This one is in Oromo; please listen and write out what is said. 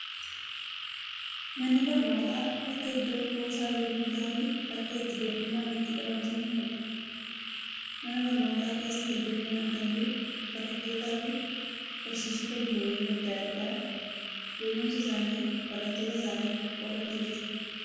Manni barnootaa, bakka iddoo kuusaa beekumsaa fi bakka itti doofummaan itti dhabamsiifamudha. Mana barnootaa keessa hedduminaan kan jiru barattootaa fi barsiisota buleeyyii addaa addaa beekumsa isaanii barattoota isaaniif qoodantu jiru.